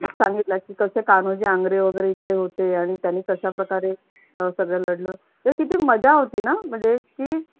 सांगितला आहे की कसे कान्होजी आंग्रे वगैरे इकडे होते आणि त्यांनी कशा प्रकारे पडलं तर किती मजा होती ना.